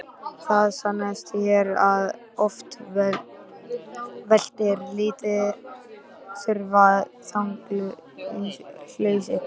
Það sannaðist hér að oft veltir lítil þúfa þungu hlassi.